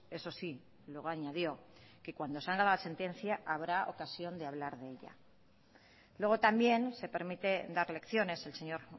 eso sí luego añadió que cuando salga la sentencia habrá ocasión de hablar de ella luego también se permite dar lecciones el señor